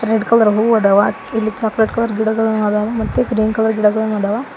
Red colour ಹೂ ಅದಾವ ಇಲ್ಲಿ ಚಾಕ್ಲೆಟ್ ಕಲರ್ ಗಿಡಗಳು ಅದವ ಮತ್ತೆ ಗ್ರೀನ್ ಕಲರ್ ಗಿಡಗಳನ್ನು ಅದವ.